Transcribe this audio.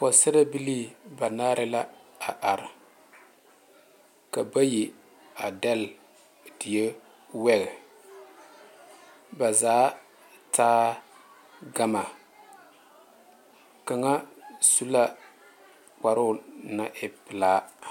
Pɔgesera bilee banaare la a are ka bayi a degle teɛ wɛge ba zaa taa gane kaŋa su la kparo naŋ e pelaa.